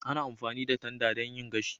Ana amfani da tanda don yin gashi